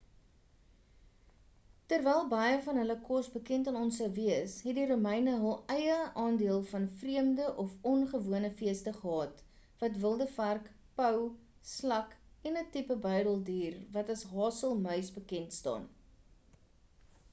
terwyl baie van hul kos bekend aan ons sou wees het die romeine hul eie aandeel van vreemde of ongewone feeste gehad wat wilde vark pou slak en 'n tipe buideldier wat as 'n hazelmuis bekend staan